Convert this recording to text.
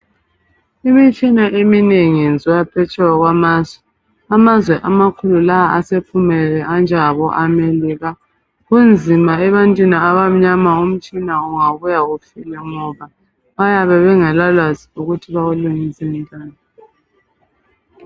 imitshina eminengi iyenziwa phetsheya kwamazwe kumazwe amakhulu lawa asephumelele anjengabo America kunzima ebantwini abamnyama utshina ungabuya ufile ngoba bayabe bengakla lwazi ukuthi umtshina ulungiswa njani